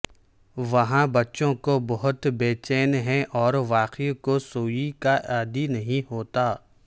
وہاں بچوں کو بہت بے چین ہیں اور واقعی کو سوئی کا عادی نہیں ہوتا